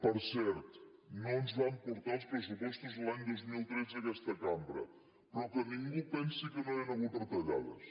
per cert no ens van portar els pressupostos l’any dos mil tretze a aquesta cambra però que ningú pensi que no hi ha hagut retallades